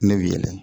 Ne weele